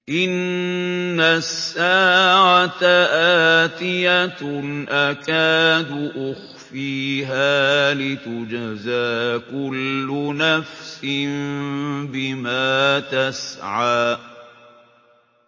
إِنَّ السَّاعَةَ آتِيَةٌ أَكَادُ أُخْفِيهَا لِتُجْزَىٰ كُلُّ نَفْسٍ بِمَا تَسْعَىٰ